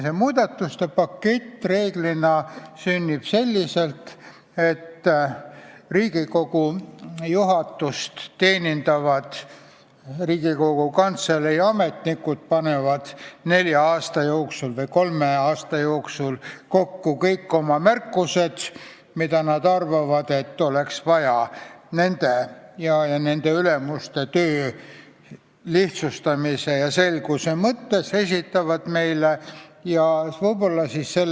See pakett üldiselt sünnib selliselt, et Riigikogu juhatust teenindavad Riigikogu Kantselei ametnikud panevad kolme aasta jooksul kokku kõik oma ettepanekud, mille kohta nad arvavad, et neid oleks vaja selguse mõttes ning nende ja nende ülemuste töö lihtsustamiseks, ja esitavad meile, st põhiseaduskomisjonile.